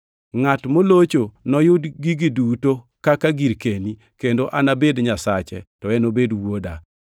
Ngʼat molocho noyud gigi duto kaka girkeni, kendo anabed Nyasache, to enobed wuoda.